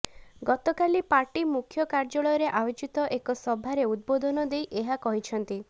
ଗତକାଲି ପାର୍ଟି ମୁଖ୍ୟ କାର୍ଯ୍ୟାଳୟରେ ଆୟୋଜିତ ଏକ ସଭାରେ ଉଦବୋଧନ ଦେଇ ଏହା କହିଛନ୍ତି